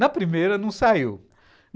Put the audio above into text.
Na primeira não saiu.